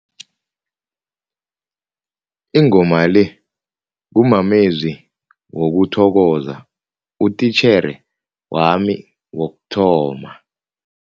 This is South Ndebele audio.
Ingoma le kumamezwi wokuthokoza utitjhere wami wokuthoma.